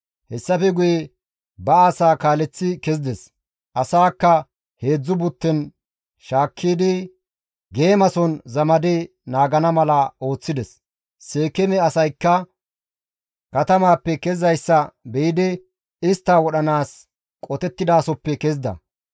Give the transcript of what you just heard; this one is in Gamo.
Hessafe guye ba asaa kaaleththi kezides; asaakka 3 butten shaakkidi geemason zamadi naagana mala ooththides; Seekeeme asaykka katamaappe kezizayssa be7idi istta wodhanaas qotettidasoppe kezida.